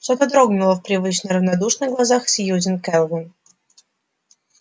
что-то дрогнуло в привычно равнодушных глазах сьюзен кэлвин